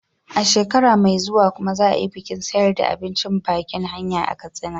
A shekara mai zuwa kuma za a yi bikin siyarda abincin bakin hanya a Katsina.